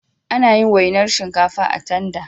Anayin wainar shinkafa a tanda